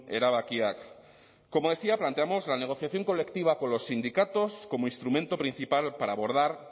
erabakiak como decía planteamos la negociación colectiva con los sindicatos como instrumento principal para abordar